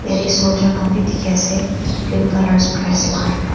ete soldier khan bi dikhiase green colour dress lakaina.